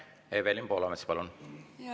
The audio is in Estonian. Evelin Poolamets, palun!